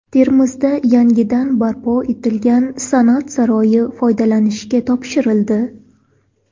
Termizda yangidan barpo etilgan San’at saroyi foydalanishga topshirildi.